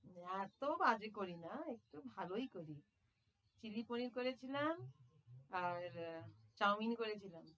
এত্ত বাজে করি না, একটু ভালোই করি চিলি পনির করেছিলাম আর আহ চাওমিন করেছিলাম।